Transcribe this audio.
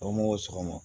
sɔgɔma